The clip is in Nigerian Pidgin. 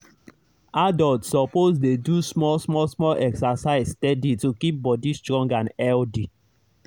adults suppose dey do small small small exercise steady to keep body strong and healthy.